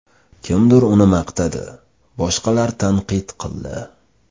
Kimdir uni maqtadi, boshqalar tanqid qildi.